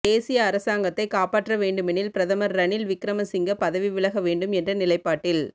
தேசிய அரசாங்கத்தை காப்பாற்ற வேண்டுமெனில் பிரதமர் ரணில் விக்கிரமசிங்க பதவி விலக வேண்டும் என்ற நிலைப்பாட்டில்